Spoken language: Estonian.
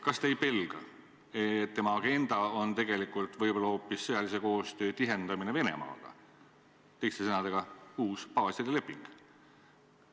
Kas te ei pelga, et tema agenda on tegelikult võib-olla hoopis sõjalise koostöö tihendamine Venemaaga, teiste sõnadega uus baaside leping?